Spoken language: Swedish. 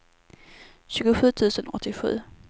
tjugosju tusen åttiosju